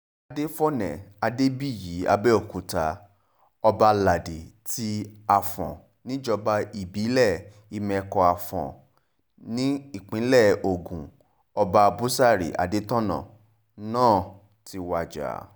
adéfòne adébíyí àbẹ̀òkúta ọbaládi ti afọ́n níjọba ìbílẹ̀ ìmẹ́kọ-afọ́n nípínlẹ̀ ogun ọba búsárì adétọ́nà náà ti wájà